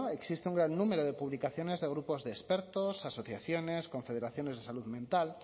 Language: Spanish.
existe un gran número de publicaciones de grupos de expertos asociaciones confederaciones de salud mental